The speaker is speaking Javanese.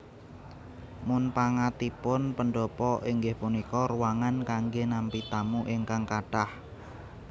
Munpangatipun pendhapa inggih punika ruangan kanggé nampi tamu ingkang kathah